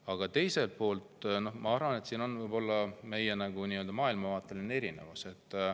Aga ma arvan, et siin on meil võib-olla maailmavaateline erinevus.